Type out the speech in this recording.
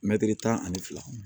Mɛtiri tan ani fila